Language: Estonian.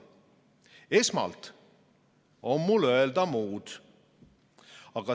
Esmalt on mul öelda muud.